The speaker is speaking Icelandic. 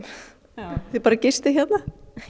já þið bara gistið hérna